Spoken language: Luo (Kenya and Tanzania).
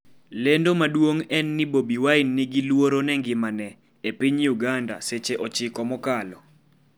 lendo maduong' en ni Bobi Wine 'ni gi luoro ne ngimane' e piny Uganda seche 9 mokalo